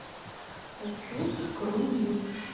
хочу в круиз